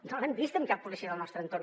no l’hem vist en cap policia del nostre entorn